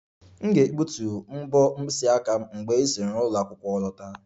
M ga-egbutu mbo mkpịsị aka m mgbe m si n'ụlọ akwụkwọ lọta